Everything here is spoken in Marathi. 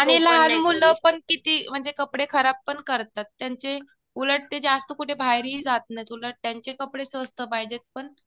आणि लहान मुलं पण किती म्हणजे कपडे खराब पण करतात. त्यांचे उलट ते जास्त कुठे बाहेरहि जात नाही. उलट त्यांचे कपडे स्वस्त पाहिजे पण.